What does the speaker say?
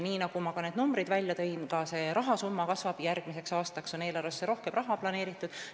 Nagu ma ütlesin, ka rahasumma kasvab, järgmiseks aastaks on eelarvesse rohkem raha planeeritud.